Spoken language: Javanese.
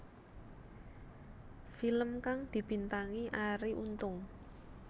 Film kang dibintangi Arie Untung